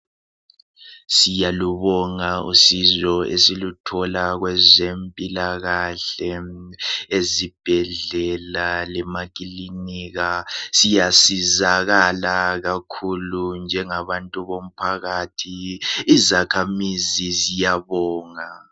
Siyalibonga usizo esiluthola kwabezempilakahle ezibhedlela lemakiliniki. Siyasizakala kakhulu njengabantu bomphakathi, izakhamizi ziyabonga kakhulu.